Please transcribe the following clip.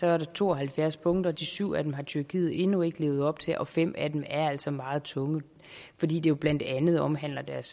er der to og halvfjerds punkter de syv af dem har tyrkiet endnu ikke levet op til og fem af dem er altså meget tunge fordi det jo blandt andet omhandler deres